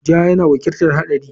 Ja yana wakiltar haɗari.